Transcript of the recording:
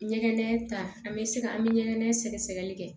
Ɲɛgɛn ta an bɛ se ka an bɛ ɲɛgɛn sɛgɛsɛgɛli kɛ